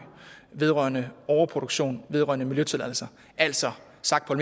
vedrørende overproduktion vedrørende miljøtilladelser altså sagt på